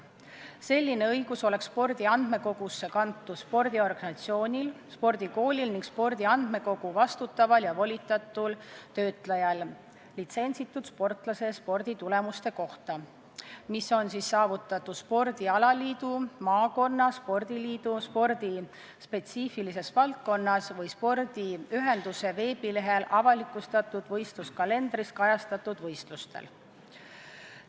Selline õigus oleks spordi andmekogusse kantud spordiorganisatsioonil, spordikoolil ning spordi andmekogu vastutaval ja volitatud töötlejal litsentsitud sportlase sporditulemuste puhul, mis on saavutatud spordialaliidu, maakonna spordiliidu, spordi spetsiifilises valdkonnas või spordiühenduse veebilehel avalikustatud võistluskalendris kajastatud võistlustel.